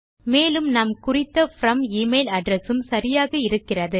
மேலும் நாம் குறித்த ப்ரோம் எமெயில் அட்ரெஸ் உம் சரியாக இருக்கிறது